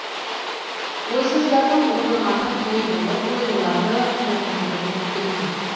ойсыздардың отырғаны той болып ойлыларды опындырып өтті күн